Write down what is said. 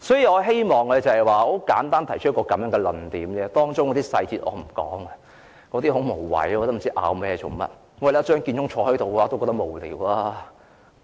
我希望簡單提出這個論點，我不想談及無謂的、無須爭辯的細節，張建宗坐在這裏也感到無聊。